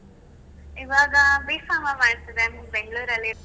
ಇವಾಗ B.Pharma ಮಾಡ್ತಿದ್ದೇನೆ Bangalore ಅಲ್ಲಿ.